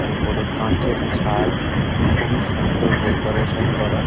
ওপরে কাঁচের ছাদ। আর খুবই সুন্দর ডেকোরেশন করা।